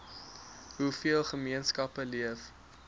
hoeveel gemeenskappe leef